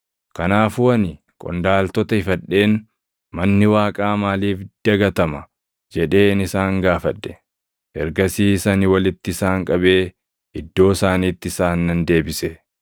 Kanaafuu ani qondaaltota ifadheen, “Manni Waaqaa maaliif dagatama?” jedheen isaan gaafadhe. Ergasiis ani walitti isaan qabee iddoo isaaniitti isaan nan deebise.